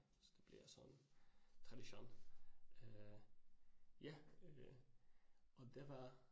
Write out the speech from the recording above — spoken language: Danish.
Så det bliver sådan tradition øh ja øh og det var